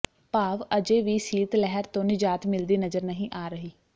ਭਾਵ ਅਜੇ ਵੀ ਸੀਤ ਲਹਿਰ ਤੋਂ ਨਿਜਾਤ ਮਿਲਦੀ ਨਜ਼ਰ ਨਹੀਂ ਆ ਰਹੀ